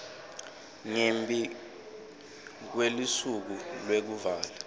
ngembi kwelusuku lwekuvala